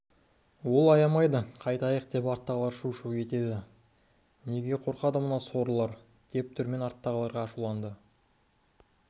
ол аямайды қайтайық деп арттағылар шу-шу етеді неге қорқады мына сорлылар деп дүрмен арттағыларға ашуланды менің